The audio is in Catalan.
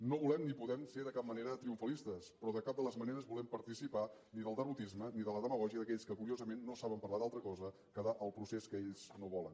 no volem ni podem ser de cap manera triomfalistes però de cap de les maneres volem participar ni del derrotisme ni de la demagògia d’aquells que curiosament no saben parlar d’altra cosa que del procés que ells no volen